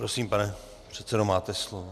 Prosím, pane předsedo, máte slovo.